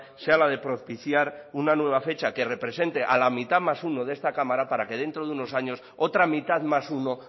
sea la de propiciar una nueva fecha que represente a la mitad más uno de esta cámara para que dentro de unos años otra mitad más uno